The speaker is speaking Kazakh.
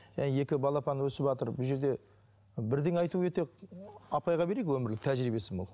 иә екі балапан өсіватыр бұл жерде бірдеңе айту өте апайға берейік өмірлік тәжірибесі мол